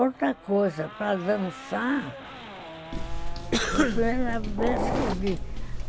Outra coisa, para dançar, foi a primeira vez que eu vi.